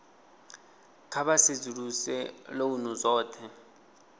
kha vha sedzuluse lounu dzothe